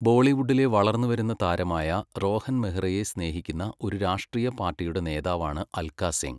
ബോളിവുഡിലെ വളർന്നുവരുന്ന താരമായ രോഹൻ മെഹ്റയെ സ്നേഹിക്കുന്ന ഒരു രാഷ്ട്രീയ പാർട്ടിയുടെ നേതാവാണ് അൽക്ക സിംഗ്.